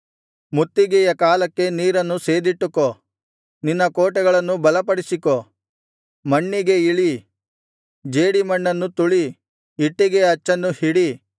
ಮುತ್ತಿಗೆಯ ಕಾಲಕ್ಕೆ ನೀರನ್ನು ಸೇದಿಟ್ಟುಕೋ ನಿನ್ನ ಕೋಟೆಗಳನ್ನು ಬಲಪಡಿಸಿಕೋ ಮಣ್ಣಿಗೆ ಇಳಿ ಜೇಡಿಮಣ್ಣನ್ನು ತುಳಿ ಇಟ್ಟಿಗೆಯ ಅಚ್ಚನ್ನು ಹಿಡಿ